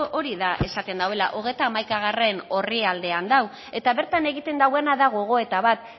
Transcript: hori da esaten duena hogeita hamaikagarrena orrialdean dago eta bertan egiten dauena da gogoeta bat